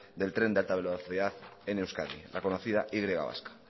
del tren de alta velocidad en euskadi la conocida y vasca